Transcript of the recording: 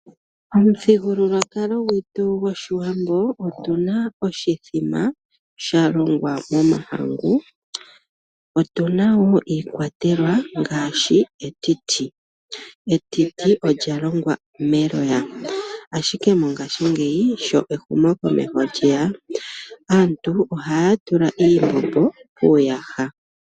Omuthigululwakalo gwetu gwOshiwambo otuna oshithima shalongwa momahangu. Otuna woo iikwatelwa ngaashi etiti. Etiti olyalongwa meloya, ashike mongashingeyi sho ehumokomeho lyeya, aantu ohaya tula iimbombo muuyaha.